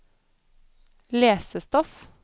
lesestoff